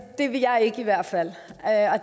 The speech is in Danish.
det vil jeg i hvert fald